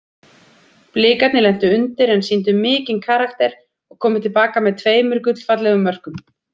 Blikarnir lentu undir en sýndu mikinn karakter og komu til baka með tveimur gullfallegum mörkum.